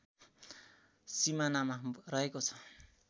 सिमानामा रहेको छ